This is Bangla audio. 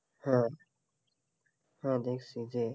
হ্যাঁ, হ্যাঁ দেখছি যে,